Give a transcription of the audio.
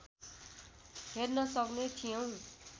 हेर्न सक्ने थियौँ